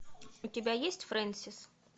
у тебя есть фрэнсис